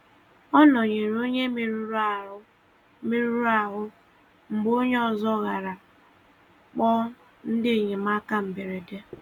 Ọ nọ̀nyerè onye mèruru ahú mèruru ahú mgbe onye ọzọ garà kpọọ ndị enyemáka mberede.